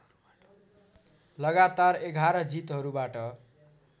लगातार एघार जितहरूबाट